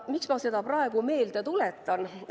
Miks ma seda praegu meelde tuletan?